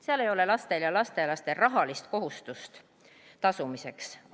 Seal ei ole lastel ja lastelastel rahalist kohustust tasuda.